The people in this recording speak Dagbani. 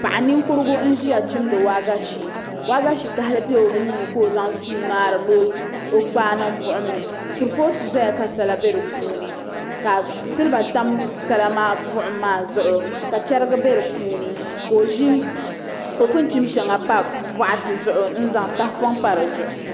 Paɣa ninkurigu n ʒiya chimdi waagashe waagashe kahali n bɛ o nuuni ka o zaŋ suu ŋmahari ni o kpaa niŋ buɣum ni kurifooti ʒɛya ka sala bɛ di puuni ka silba tam sala maa buɣum maa zuɣu ka chɛrigi bɛ di puuni ka o pun chim shɛŋa pa boɣati zuɣu n zaŋ tahapoŋ pa di zuɣu